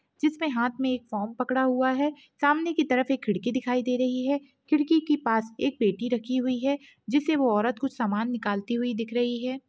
जिसपे हाथ में एक फ़ॉर्म पकड़ा हुआ है सामने की तरफ एक खिड़की दिखाई दे रही है खिड़की कि पास एक पेटी रखी हुई है जिसे वो औरत कुछ समान निकालती हुई दिख रही है।